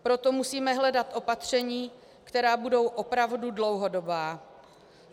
Proto musíme hledat opatření, která budou opravdu dlouhodobá.